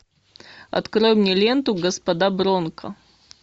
открой мне ленту господа бронко